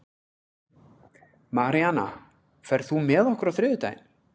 Maríana, ferð þú með okkur á þriðjudaginn?